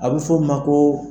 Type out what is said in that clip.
A bɛ fɔ o ma ko.